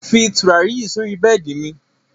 Fí tùràrí yí sọ̀rí bẹẹ́di mi!